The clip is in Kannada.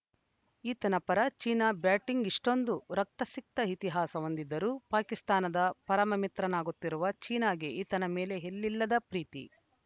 ಈತನ ಪರ ಚೀನಾ ಬ್ಯಾಟಿಂಗ್‌ ಇಷ್ಟೊಂದು ರಕ್ತಸಿಕ್ತ ಇತಿಹಾಸ ಹೊಂದಿದ್ದರೂ ಪಾಕಿಸ್ತಾನದ ಪರಮಮಿತ್ರನಾಗಿರುವ ಚೀನಾಗೆ ಈತನ ಮೇಲೆ ಎಲ್ಲಿಲ್ಲದ ಪ್ರೀತಿ